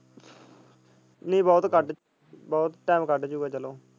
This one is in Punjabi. ਨੀ ਬਹੁਤ ਕੱਢ ਬਹੁਤ time ਕੱਢ ਜਾਊਗਾ ਚਲੋ।